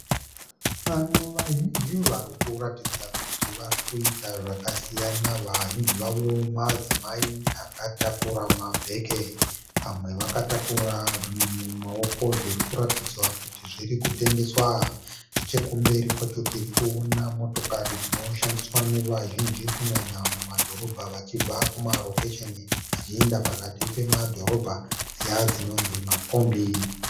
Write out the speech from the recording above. Vanhu vazhinji vari kuratidza kuti vari kuita zvaka siyana . Vazhinji vavo madzimai aka takura mabheke . Vamwe vakatakura zvinhu mumaoko, zvinhu zviri kuratidzwa kuti kutengeswa . Nechekumbere kwacho tiri kuona motokari dzino shandiswa ne vazhinji kunyanya muma dhoroba vachibva ,muma rokesheni vachienda pakati pedorobha dziya dzinonzi makombi